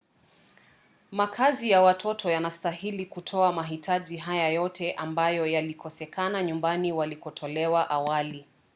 makazi ya watoto yanastahili kutoa mahitaji haya yote ambayo yalikosekana nyumbani walikotolewa awali